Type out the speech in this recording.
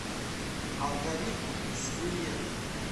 алгоритм с билет